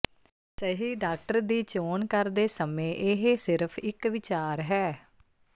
ਸਹੀ ਡਾਕਟਰ ਦੀ ਚੋਣ ਕਰਦੇ ਸਮੇਂ ਇਹ ਸਿਰਫ਼ ਇਕ ਵਿਚਾਰ ਹੈ